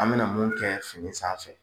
An bɛna mun kɛ sanfɛ.